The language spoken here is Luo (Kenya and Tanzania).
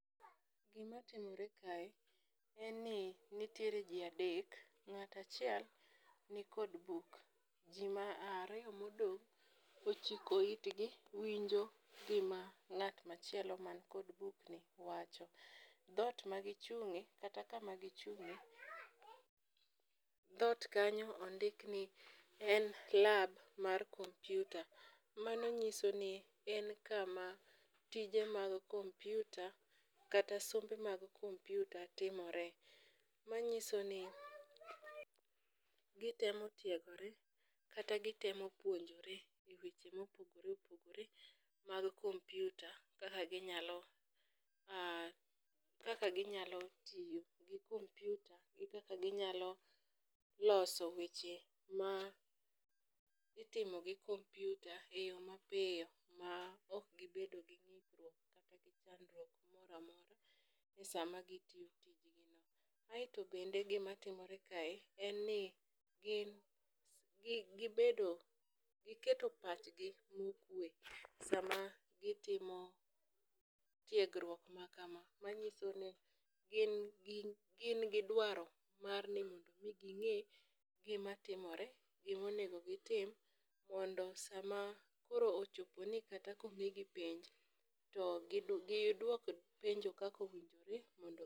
Gi ma timore kae en ni nitiere ji adek, ng'ata achiel ni ni kod buk, ji ariyo ma odong' ochiko it gi winjo gi ma ngat ma chielo man kod buk ni wacho. Dhot ma gi chung'e kata ka ma gi chung'e dhot kanyo ondik ni en club mar kompyuta. Mano ng'iso en kama tije mag kompyuta kata sombe mag kompyuta timore. Ma ng'iso ni gi temo tiegore kata gi temo puonjre gik ma opogore opogore mag kompyuta kaka gi nyalo tiyo gi kompyuta gi kaka gi nyalo loso weche ma itimo gi kompyuta e yo ma piyo ma ok gi bedo gi e saa ma gio tiyo. Aito bende gi ma timore kae en ni gi gi bedo gi keto pach gi ma okwe saa ma gi timo tiegruok ma kama .Ma ng'iso ni gin gin gi dwaro mar mi gi ng'e gi ma timore gi ma onego gi tim mondo saa ma koro ochopo ni kata ka omi gi penj to gi dwok penjo kaka owinjore mondo.